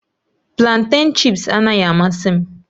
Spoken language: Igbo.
Planten chị́ps anaghị amasị m